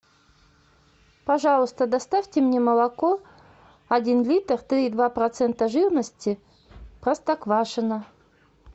пожалуйста доставьте мне молоко один литр три и два процента жирности простоквашино